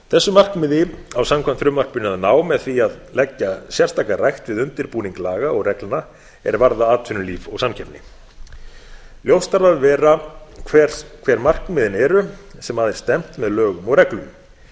þessu markmiði á samkvæmt frumvarpinu að ná með því að leggja sérstaka rækt við undirbúning laga og reglna er varða atvinnulíf og samkeppni ljóst þarf að vera hver markmiðin eru sem að er stefnt með lögum og reglum